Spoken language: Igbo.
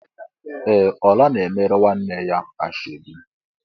Ee! Ọla na-emere nwanne ya nwaanyị ashọbi.